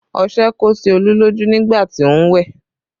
Ọṣẹ kó sí Olú lójú nígbà tí ó ń wẹ̀